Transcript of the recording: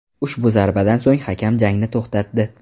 Ushbu zarbadan so‘ng hakam jangni to‘xtatdi.